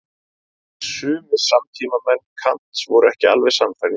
En sumir samtímamenn Kants voru ekki alveg sannfærðir.